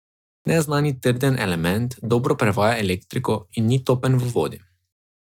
Neznani trden element dobro prevaja elektriko in ni topen v vodi.